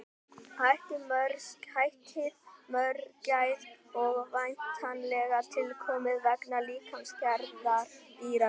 Heitið mörgæs er væntanlega tilkomið vegna líkamsgerðar dýranna.